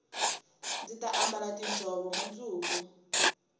ndzi ta ambala tiinjhovo mundzuku